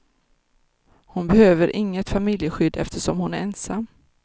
Hon behöver inget familjeskydd eftersom hon är ensam.